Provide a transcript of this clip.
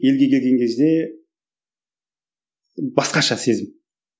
елге келген кезде басқаша сезім